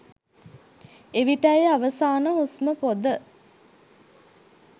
එවිටයි අවසාන හුස්ම පොඳ